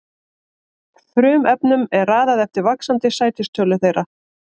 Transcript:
Frumefnunum er raðað eftir vaxandi sætistölu þeirra.